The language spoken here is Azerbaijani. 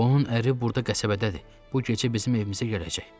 Onun əri burda qəsəbədədir, bu gecə bizim evimizə gələcək.